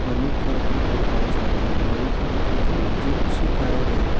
मनु का भी बनाया जाता है मनु का बोले तो जो सुखाया जाता --